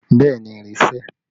Bẹẹ ni, ìrì sẹ̀